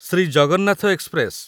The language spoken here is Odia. ଶ୍ରୀ ଜଗନ୍ନାଥ ଏକ୍ସପ୍ରେସ